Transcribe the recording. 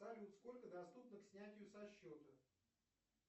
салют сколько доступно к снятию со счета